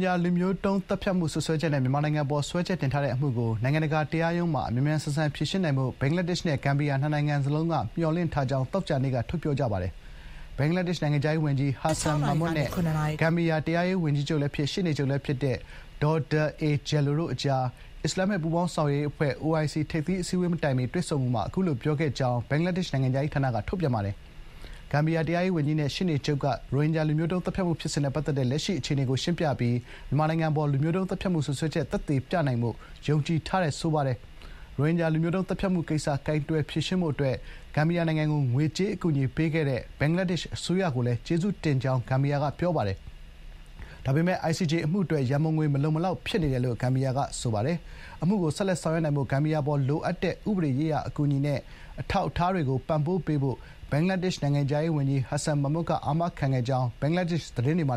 ဂျာ လူမျိုးတုံးသတ်ဖြတ်မှုစွပ်စွဲချက်နဲ့ မြန်မာနိုင်ငံအပေါ် စွဲချက်တင်တဲ့အမှုကို နိုင်ငံတကာတရားရုံးမှာ မြန်မြန်ဆန်ဆန်ဖြေရှင်းနိုင်ဖို့ ဘင်္ဂလားဒေ့ရှ်နဲ့ ဂမ်ဘီယာ နှစ်နိုင်ငံစလုံး မျှော်လင့်ထားကြောင်း သောကြာနေ့က ထုတ်ဖော်ပြောပါတယ်။ ဘင်္ဂလားဒေ့ရှ် နိုင်ငံခြားရေးဝန်ကြီး ဟာဆန် မာမွတ် (Hasan Mahmud) နဲ့ ဂမ်ဘီယာ တရားရေးဝန်ကြီးလည်းဖြစ်၊ ရှေ့နေချုပ် လည်းဖြစ်တဲ့ ‌ဒေါဒါ အေ ဂျဲလို (Dawda A Jallow) တို့ အကြား အစ္စလာမ္မစ် ပူးပေါင်းဆောင်ရွက်ရေး အဖွဲ့ (OIC) ထိပ်သီးအစည်းအ ဝေးမတိုင်မီ နိုင်ငံခြားရေးဝန်ကြီးတွေ ကြိုတင်ပြင်ဆင်တဲ့ အစည်းအဝေး အပြီး ဘေးပန်းတွေ့ဆုံမှုမှာ အခုလို ပြောခဲ့ကြောင်း ဘင်္ဂလားဒေ့ရှ် နိုင်ငံခြားရေးဌာနက ထုတ်ပြန်ပါတယ်။ ဂမ်ဘီယာ တရားရေး ၀န်ကြီးနဲ့ ရှေ့နေချုပ်က ရိုဟင်ဂျာ လူမျိုးတုံး သတ်ဖြတ်မှု ဖြစ်စဉ်နဲ့ ပတ်သက်တဲ့ လက်ရှိ အခြေအနေကို ရှင်းပြပြီး မြန်မာနိုင်ငံအပေါ် လူမျိုးတုံး သတ်ဖြတ်မှု စွပ်စွဲချက် သက်သေပြနိုင်ဖို့ ယုံကြည်ထားကြောင်း ပြောပါတယ်။ ရိုဟင်ဂျာ လူမျိုးတုံးသတ်ဖြတ်မှုကိစ္စ ကိုင်တွယ်ဖြေရှင်းမှုအတွက် ဂမ်ဘီယာနိုင်ငံကို ငွေကြေးအကူအညီ ပေးခဲ့တဲ့ ဘင်္ဂလားဒေ့ရှ် အစိုးရကိုလည်း ကျေးဇူးတင်ကြောင်း ဂမ်ဘီယာက ပြောပါတယ်။ ဒါပေမယ့် ICJ အမှု အတွက် ရန်ပုံငွေမလုံမလောက်ဖြစ်နေတယ်လို့ ဂမ်ဘီယာက ပြောပါတယ်။ အမှုကို ဆက်လက်ဆောင်ရွက်နိုင်ဖို့ ဂမ်ဘီယာအပေါ် လိုအပ်တဲ့ ဥပဒေရေးရာအကူအညီနဲ့ အထောက်အထားတွေ ပံ့ပိုးပေးဖို့ ဘင်္ဂလားဒေ့ရှ် နိုင်ငံခြားရေးဝန်ကြီး ဟာဆန် မာမွတ် က အာမခံခဲ့ကြောင်း ဘင်္ဂလားဒေ့ရှ် သတင်းတွေမှ